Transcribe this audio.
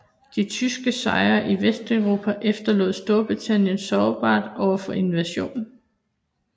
De tyske sejre i Vesteuropa efterlod Storbritannien sårbart overfor invasion